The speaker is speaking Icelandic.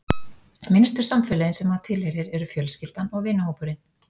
Minnstu samfélögin sem maður tilheyrir eru fjölskyldan og vinahópurinn.